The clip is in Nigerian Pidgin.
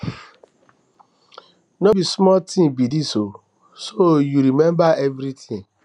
no be small thing be dis ooo so you remember everything